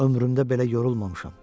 Ömrümdə belə yorulmamışam.